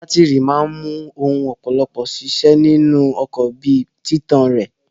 Bátírí máa mú ọ̀pọ̀lọpọ̀ ohun ṣiṣẹ́ nínú ọkọ̀ bí i títàn rẹ̀.